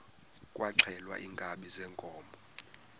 kwaxhelwa iinkabi zeenkomo